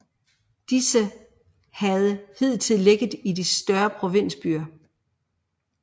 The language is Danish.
Disse havde hidtil ligget i de større provinsbyer